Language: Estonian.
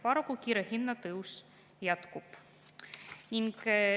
Paraku kiire hinnatõus jätkub.